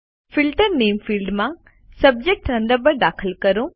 filter નામે ફિલ્ડમાં subject Thunderbird દાખલ કરો